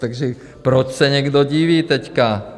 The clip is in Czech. Takže proč se někdo diví teď?